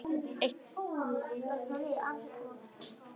Eitt barn enn?